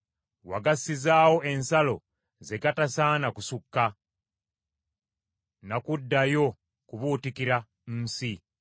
Wagassizaawo ensalo ze gatasaana kusukka, na kuddayo kubuutikira nsi.